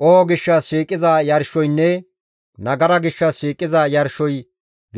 Qoho gishshas shiiqiza yarshoynne nagara gishshas shiiqiza yarshoy